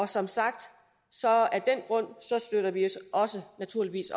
som sagt støtter vi naturligvis